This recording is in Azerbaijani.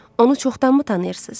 Onu çoxdanmı tanıyırsız?